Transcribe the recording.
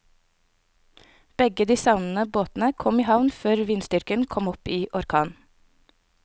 Begge de savnede båtene kom i havn før vindstyrken kom opp i orkan.